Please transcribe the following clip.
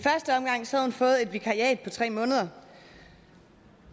vikariat på tre måneder